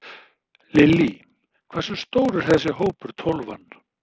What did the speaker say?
Lillý: Hversu stór er þessi hópur, Tólfan?